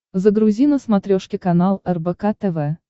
загрузи на смотрешке канал рбк тв